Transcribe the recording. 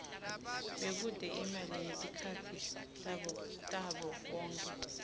bekute imali ngetikhatsi tabokhokho